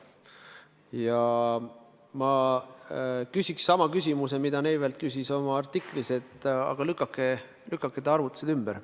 Ja ma küsiksin sama küsimuse, mida Neivelt küsis oma artiklis, lükake ta arvutused ümber.